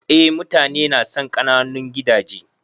Eh mutane nasan ƙananun gidaje.